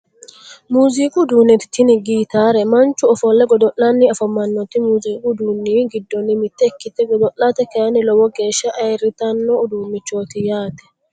Muuziiqu uduunne tini gitaare manchu ofolle godo'lanni afamannoti muuziiqu udduunni giddonni mitte ikkite godo'late kayinni lowo geeshsha ayirritanno uduunnichooti yaate